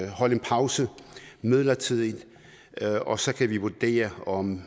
holde en pause midlertidigt og så kan vi vurdere om